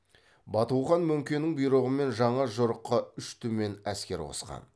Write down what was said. бату хан мөңкенің бұйрығымен жаңа жорыққа үш түмен әскер қосқан